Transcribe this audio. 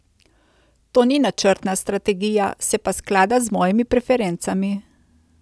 To ni načrtna strategija, se pa sklada z mojimi preferencami.